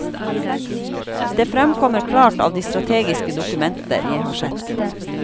Dét fremkommer klart av de strategiske dokumenter jeg har sett.